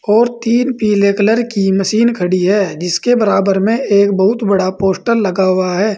और तीन पीले कलर की मशीन खड़ी है जिसके बराबर में एक बहुत बड़ा पोस्टर लगा हुआ है।